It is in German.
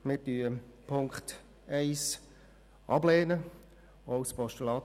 Wir lehnen die Ziffer 1 ab, auch als Postulat.